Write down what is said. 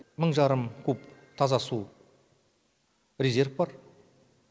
мың жарым куб таза су резерв бар